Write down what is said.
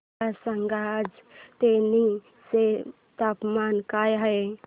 मला सांगा आज तेनी चे तापमान काय आहे